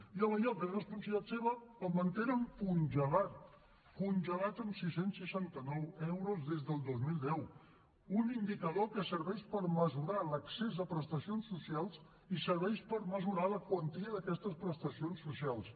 i en allò que és responsabilitat seva el mantenen congelat congelat en sis cents i seixanta nou euros des del dos mil deu un indicador que serveix per mesurar l’accés a prestacions socials i serveix per mesurar la quantia d’aquestes prestacions socials